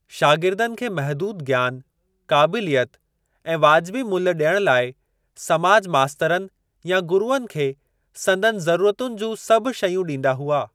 शागिर्दनि खे महदूद ज्ञान, काबिलियत ऐं वाजिबी मुल्ह ॾियण लाइ समाज मास्तरनि या गुरूअनि खे संदनि ज़रूरतुनि जूं सभु शयूं ॾींदा हुआ।